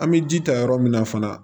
An bɛ ji ta yɔrɔ min na fana